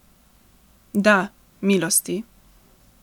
Da, milosti.